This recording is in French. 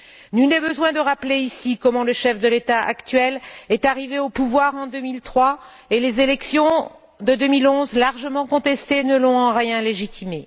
Nul n'est besoin de rappeler, ici, comment le chef de l'État actuel est arrivé au pouvoir en 2003, et les élections de 2011, largement contestées, ne l'ont en rien légitimé.